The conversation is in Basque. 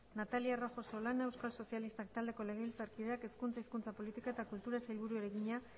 natalia rojo solana euskal sozialistak taldeko legebiltzarkideak hezkuntza hizkuntza politika eta kultura sailburuari egina